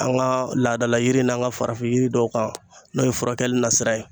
An ka laadala yiri in n'an ka farafin yiri dɔw kan n'o ye furakɛli nasira ye.